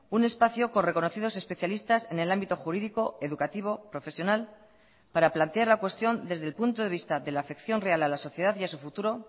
un espacio con reconocidos especialistas en el ámbito jurídico educativo profesional para plantear la cuestión desde el punto de vista de la afección real a la sociedad y a su futuro